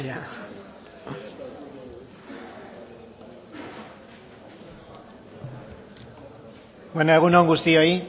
bueno egun on guztioi